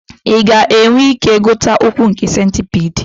Ị ga-enwe ike ịgụta ụkwụ nke centipede